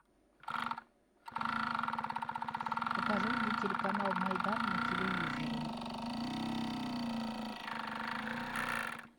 покажи мне телеканал майдан на телевизоре